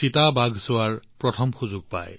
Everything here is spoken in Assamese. চিতাক চাবলৈ প্ৰথম সুযোগ পায়